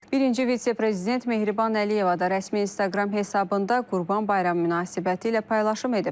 Birinci vitse-prezident Mehriban Əliyeva da rəsmi Instagram hesabında Qurban bayramı münasibətilə paylaşım edib.